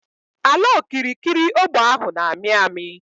Ala okirikiri ógbè ahụ n'ami ami